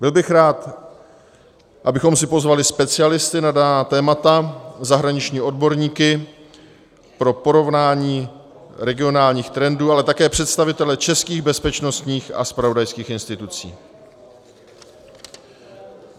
Byl bych rád, abychom si pozvali specialisty na daná témata, zahraniční odborníky pro porovnání regionálních trendů, ale také představitele českých bezpečnostních a zpravodajských institucí.